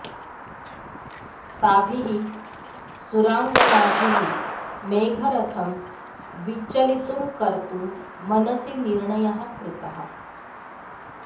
ताभिः सुराङ्गनाभिः मेघरथं विचलितुं कर्तुं मनसि निर्णयः कृतः